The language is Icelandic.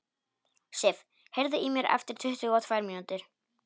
Sif, heyrðu í mér eftir tuttugu og tvær mínútur.